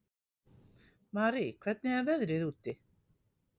Marie, hvernig er veðrið úti?